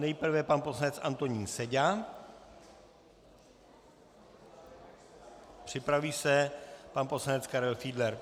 Nejprve pan poslanec Antonín Seďa, připraví se pan poslanec Karel Fiedler.